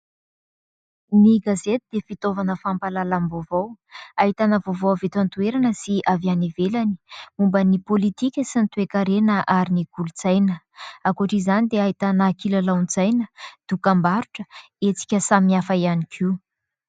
Ny gazety dia fitaovana fampahalalam-baovao ; ahitana vaovao avy eto an-toerana sy avy any ivelany momba ny politika sy ny toe-karena ary ny kolontsaina ; ankoatra izany dia ahitana kilalaon-tsaina dokam-barotra, hetsika samy hafa ihany koa.